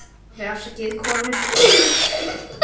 Þá vildi hún vita hvort Sólrún hefði sagt mér það.